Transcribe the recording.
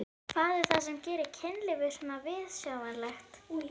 Hvað er það sem gerir kynlíf svona viðsjárvert?